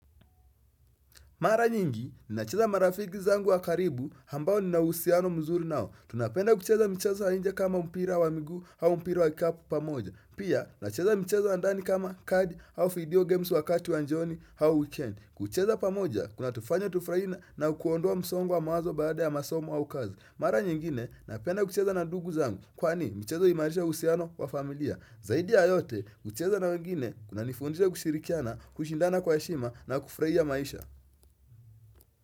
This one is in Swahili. Mara nyingi, ninacheza marafiki zangu wa karibu ambao ninauhusiano mzuri nao. Tunapenda kucheza michezo ya inje kama mpira wa miguu au mpira wa kikapu pamoja. Pia, nacheza michezo ya ndani kama kadi au video games wakati wa jioni hau weekend. Kucheza pamoja, kunatufanya tufuraie na na kuondoa msongo wa mawazo baada ya masomo au kazi. Mara nyingine, napenda kucheza na ndugu zangu. Kwani, mchezo huimarisha uhusiano wa familia. Zaidi ya yote, kucheza na wengine, kuna nifundisha kushirikiana, kushindana kwa heshima na kufuraia maisha.